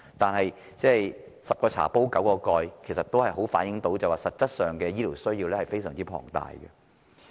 但是，所謂"十個茶壺九個蓋"，這清楚反映實際的醫療需要十分龐大。